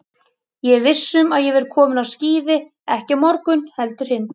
Ég er viss um að ég verð kominn á skíði ekki á morgun heldur hinn.